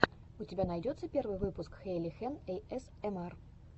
у тебя найдется первый выпуск хэйхелен эйэсэмар